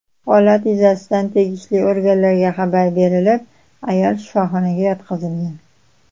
Holat yuzasidan tegishli organlarga xabar berilib, ayol shifoxonaga yotqizilgan.